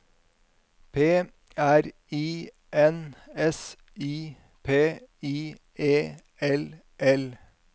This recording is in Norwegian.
P R I N S I P I E L L